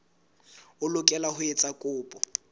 o lokela ho etsa kopo